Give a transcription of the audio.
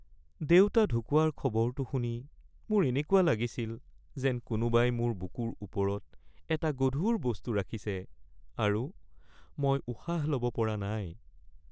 দেউতা ঢুকুৱাৰ খবৰটো শুনি মোৰ এনেকুৱা লাগিছিল যেন কোনোবাই মোৰ বুকুৰ ওপৰত এটা গধুৰ বস্তু ৰাখিছে আৰু মই উশাহ ল'ব পৰা নাই